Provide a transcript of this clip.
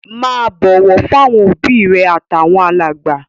Máa bọ̀wọ̀ fáwọn òbí rẹ àtàwọn alàgbà.